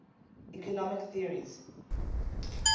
economic theories